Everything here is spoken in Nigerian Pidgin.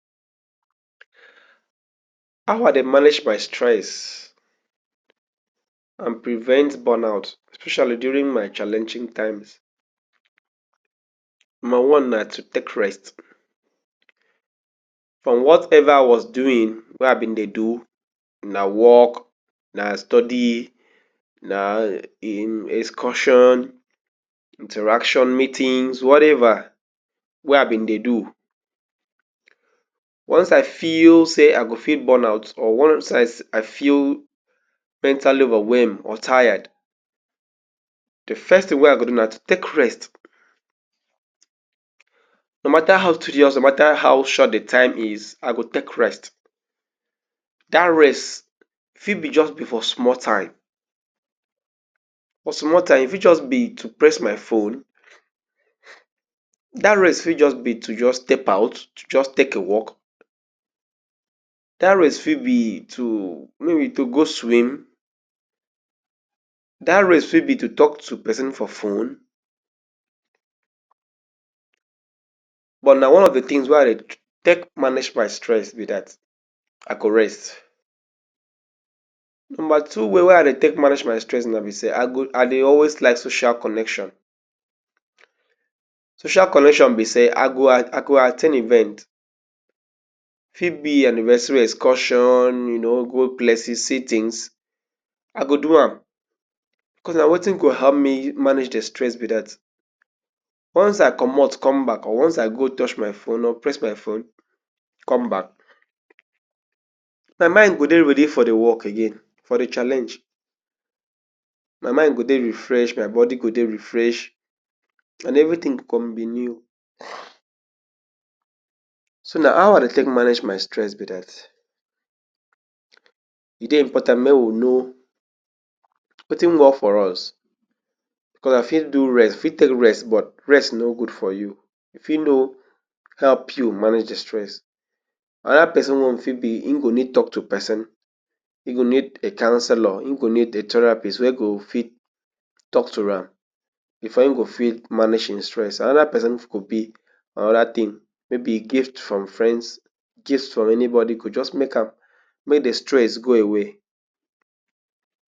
How I dey manage my stress and prevent burn out, especially during my challenging times, num one na to take rest from whatever I was doing wey i been dey do. Na wok, na study, na in excursion, interaction, meetings, whatever wey I been dey do, once I feel say I go fit burn out, or once I si i feel mentally overwhelmed, tired, di first tin wey I go do na tu take rest. No mata how tedious, no mata how sure di time is, I go take rest. Dat rest fi be just be for small time. For small time, e fi be just tu press my phone. Dat rest fi just be tu just step out, tu just take a walk. Dat rest fi be tu to go swim. Dat rest fit be to tok to pesin for phone. But na one of di tins wey I dey take manage my stress be dat. I go rest. Numba two way wey I dey take manage my stress na be say i go I dey always like social connection. Social connection be say i go ah I go at ten d event. E fi be anniversary, excursion you know go places see tins. I go do am bicos na wetin go help me manage di stress be dat. Once i comot, com back. Or once I go touch my phone, or press my phone com back, my mind go dey ready for di wok again, for di challenge. My mind go dey refresh. My body go dey refresh. And evritin go be new. So na how I dey take manage my stress be dat. E dey important make we know wetin wok for us. Bicos i fi do res fi take res but res no gud for you. E fit no help you manage di stress. Anoda pesin own be say, im fit need tok tu pesin. e go need a counsellor, in go need a therapist wey go fit tok to am bifor in go fi manage im stress. Anoda pesin go be anoda tin. Maybe gift from frends, gift from anybody, go just make am, make di stress go away.